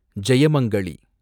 Jayamangali